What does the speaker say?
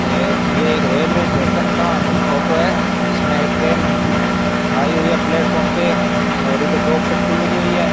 यहं ये एक रेलवे स्टेशन का फोटो है जिसमें एक ट्रेन आई हुई है प्लेटफार्म पे और इधर दो पटरी बनी हुई है।